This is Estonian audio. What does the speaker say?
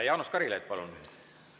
Jaanus Karilaid, palun!